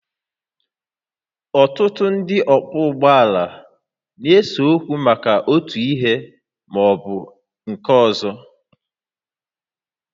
Ọtụtụ ndị ọkwọ ụgbọala na-ese okwu maka otu ihe ma ọ bụ nke ọzọ